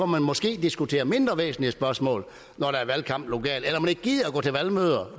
man måske diskuterer mindre væsentlige spørgsmål når der er valgkamp lokalt